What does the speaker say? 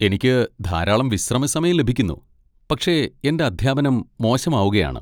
എനിക്ക് ധാരാളം വിശ്രമസമയം ലഭിക്കുന്നു, പക്ഷേ എന്റെ അധ്യാപനം മോശമാവുകയാണ്.